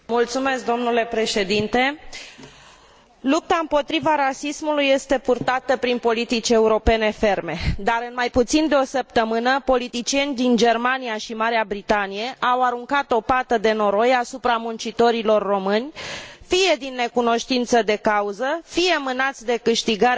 Lupta împotriva rasismului este purtată prin politici europene ferme, dar, în mai puțin de o săptămână, politicieni din Germania și Marea Britanie au aruncat o pată de noroi asupra muncitorilor români, fie din necunoștință de cauză, fie mânați de câștigarea de simpatie și voturi din partea populației.